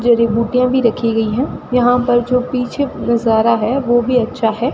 जड़ी बुटियां भी रखी गयी है यहाँ पर जो पीछे नजारा है वो भी अच्छा है।